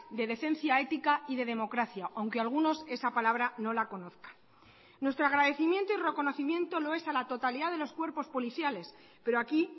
de decencia ética y de democracia aunque algunos esa palabra no la conozcan nuestro agradecimiento y reconocimiento lo es a la totalidad de los cuerpos policiales pero aquí